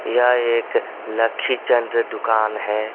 यह एक लखीचंद दुकान है.